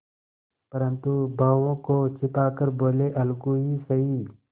परंतु भावों को छिपा कर बोलेअलगू ही सही